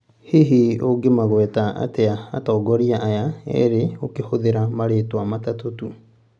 Hihi ungĩmangweta atĩa atongoria aya erĩ ũkĩhũthĩra marĩtwa matatũ tu